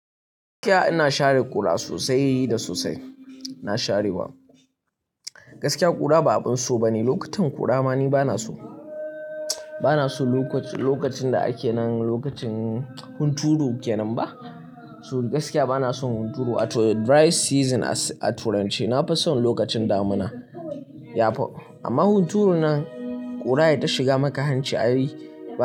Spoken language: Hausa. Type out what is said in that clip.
Gaskiya ina share ƙura sosai da sosai, ina sharewa. Gaskiya ƙura ba abun so ba ne. Lokutan ƙura ma ni ba na so, ba na so lokacin da ake nan lokacin hunturu ke nan ba. So gaskiya ba na son hunturu, ato dry season aturen ce. Na fi son lokacin damuna, ya fi. Amma hunturu nan ƙura yai ta shiga maka hanci ayi.